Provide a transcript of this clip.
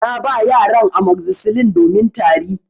Na ba yaran amoxicillin domin Tari.